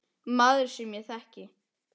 Maður, sem ég þekki.